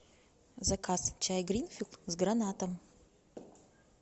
заказ чай гринфилд с гранатом